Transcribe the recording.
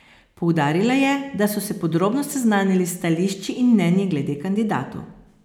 Poudarila je, da so se podrobno seznanili s stališči in mnenji glede kandidatov.